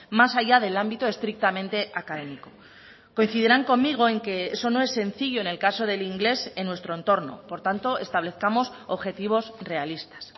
más allá del ámbito estrictamente académico coincidirán conmigo en que eso no es sencillo en el caso del inglés en nuestro entorno por tanto establezcamos objetivos realistas